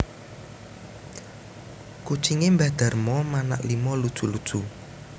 Kucinge mbah Darmo manak limo lucu lucu